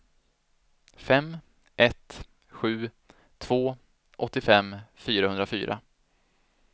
fem ett sju två åttiofem fyrahundrafyra